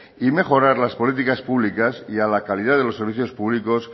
y mejorar las políticas públicas y a la calidad de los servicios públicos